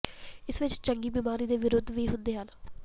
ਇਸ ਵਿਚ ਚੰਗੀ ਬਿਮਾਰੀ ਦੇ ਵਿਰੋਧ ਵੀ ਹੁੰਦੇ ਹਨ